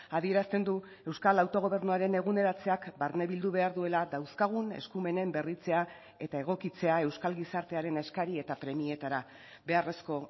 adierazten du euskal autogobernuaren eguneratzeak barnebildu behar duela dauzkagun eskumenen berritzea eta egokitzea euskal gizartearen eskari eta premietara beharrezko